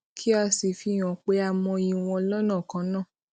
kí a sì fi hàn pé a mọyì wọn lónà kan náà